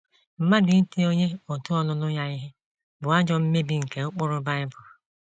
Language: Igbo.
Mmadụ iti onye òtù ọlụlụ ya ihe bụ ajọ mmebi nke ụkpụrụ Bible.